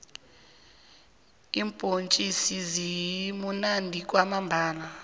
iimbhontjisi zimunandi kwamambhala